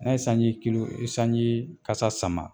An ye sanji kilu sanji kasa sama.